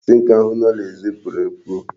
Tinker ahụ nọ n'èzí puru epu.